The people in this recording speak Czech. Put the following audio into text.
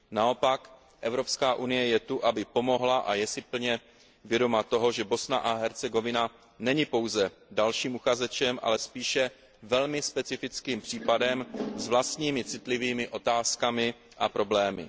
Naopak Evropská unie je zde, aby pomohla, a je si plně vědoma toho, že Bosna a Hercegovina není pouze dalším uchazečem, ale spíše velmi specifickým případem s vlastními citlivými otázkami a problémy.